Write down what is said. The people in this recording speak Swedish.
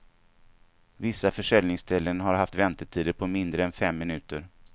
Vissa försäljningsställen har haft väntetider på mindre än fem minuter.